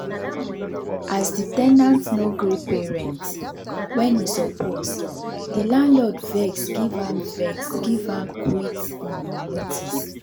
as the ten ant no gree pay rent when e suppose the landlord vex give am vex give am quit um notice.